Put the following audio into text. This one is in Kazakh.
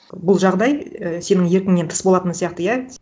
бұл жағдай і сенің еркіңнен тыс болатын сияқты иә